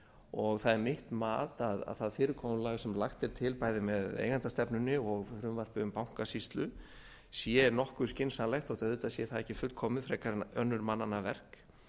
og það er mitt mat að það fyrirkomulag sem lagt er til bæði með eigendastefnunni og frumvarpi um bankasýslu sé nokkuð skynsamlegt þó auðvitað sé það ekki fullkomið frekar en önnur mannanna verk